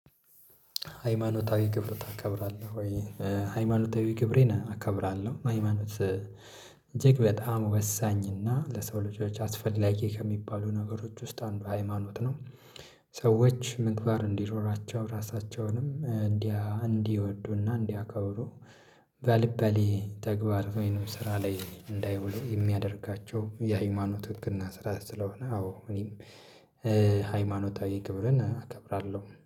ሃይማኖታዊ ክብር ታከብራለህ ወይ? ሃይማኖታዊ ክብሬን አከብራለሁ ሃይማኖት እጅግ በጣም ወሳኝና ለሰው ልጆች አስፈላጊ ከሚባሉ ነገሮች ውስጥ አንዱ ሃይማኖት ነው። ሰዎች ምግባር እንዲኖራቸው ራሳቸውንም እንዲያ እንዲወዱና እንዲያከብሩ። ባልባሌ ተግባር ወይንም ስራ ላይ እንዳይውሉ የሚያደርጋቸው የሃይማኖት ህግና ስራ ስለሆነ አዎ እኔም ሃይማኖታዊ ክብርን እከብራለሁ